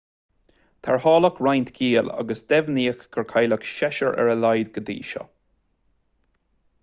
tarrtháladh roinnt giall agus deimhníodh gur cailleadh seisear ar a laghad go dtí seo